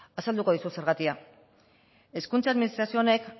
azalduko dizut zergatia hezkuntza administrazio honek